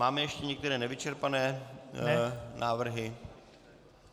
Máme ještě některé nevyčerpané návrhy?